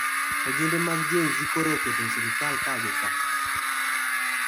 Ojende mag Gen z koro oketo sirkal ka gi kaa